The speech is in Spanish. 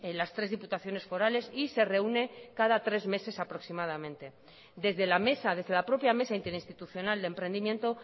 las tres diputaciones forales y se reúne cada tres meses aproximadamente desde la mesa desde la propia mesa interinstitucional de emprendimiento